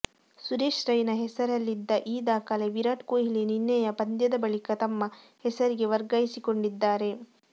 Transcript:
ಸುರೆಶ್ ರೈನಾ ಹೆಸರಲ್ಲಿದ್ದ ಈ ದಾಖಲೆ ವಿರಾಟ್ ಕೊಹ್ಲಿ ನಿನ್ನೆಯ ಪಂದ್ಯದ ಬಳಿಕ ತಮ್ಮ ಹೆಸರಿಗೆ ವರ್ಗಾಯಿಸಿಕೊಂಡಿದ್ದಾರೆ